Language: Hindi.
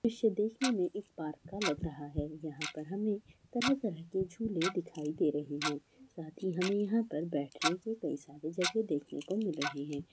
दृश्य देखने में एक पार्क का लग रहा है यहाँ पर हमें तरह-तरह के झूले दिखाई दे रहे हैं साथ ही हमे यहाँ पर बैठने को कई सारी जगह देखने को मिल रहे है।